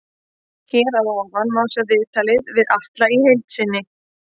Hér að ofan má sjá viðtalið við Atla í heild sinni.